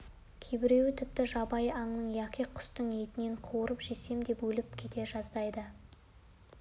кейбіреуі тіпті жабайы аңның яки құстың етін қуырып жесем деп өліп кете жаздайды